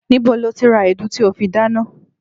Níbo lo ti ra èédú tí o fi dáná?